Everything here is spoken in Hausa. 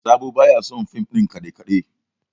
Sabo ba ya son fim ɗin kaɗe-kaɗe